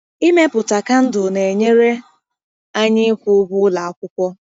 Ịmepụta kandụl na-enyere anyị ịkwụ ụgwọ ụlọ akwụkwọ.